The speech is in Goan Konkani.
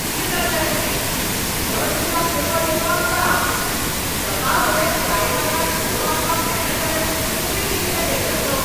कितें चल्लां रे हें! दर दिसा पेपर येवपाक कळाव. सकाळफुडें च्यायेवांगडा खबरो वाचपाक मेळना जाल्यार उपेग कितें त्या पेपराचो?